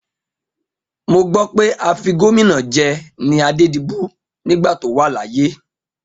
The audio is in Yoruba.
Mo gbọ́ pé afigómìnà jẹ ni Adédibú nígbà tó wà láyé.